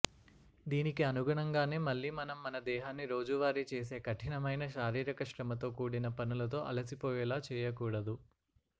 దీనికి అనుగుణంగానే మళ్లీ మనం మన దేహాన్ని రోజువారీ చేసే కఠినమైన శారీరక శ్రమతో కూడిన పనులతో అలసిపోయేలా చేయకూడదు